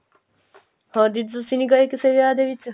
ਹੋਰ ਦੀਦੀ ਤੁਸੀਂ ਨਹੀਂ ਗਏ ਕਿਸੇ ਦੇ ਵਿਆਹ ਦੇ ਵਿੱਚ